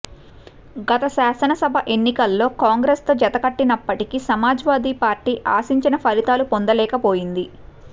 గత శాసనసభ ఎన్నికల్లో కాంగ్రెస్తో జతకట్టినప్పటికీ సమాజ్వాదీ పార్టీ ఆశించిన ఫలితాలు పొందలేకపోయింది